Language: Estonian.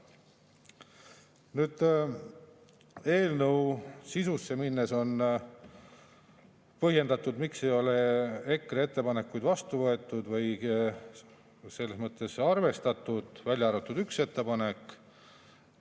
Nüüd, eelnõu sisu juurde minnes on põhjendatud, miks ei ole EKRE ettepanekuid arvestatud, välja arvatud ühte ettepanekut.